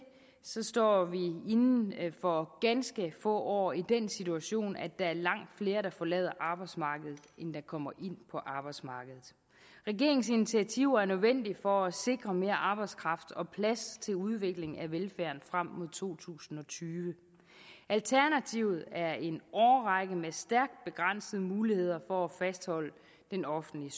står vi inden for ganske få år i den situation at der er langt flere der forlader arbejdsmarkedet end der kommer ind på arbejdsmarkedet regeringens initiativer er nødvendige for at sikre mere arbejdskraft og plads til udvikling af velfærden frem mod to tusind og tyve alternativet er en årrække med stærkt begrænsede muligheder for at fastholde den offentlige